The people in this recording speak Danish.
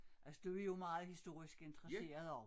Altså du jo meget historisk interesseret også